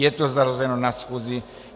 Je to zařazeno na schůzi.